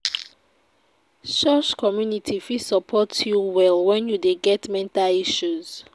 Church community fit support you well wen you dey get mental issues.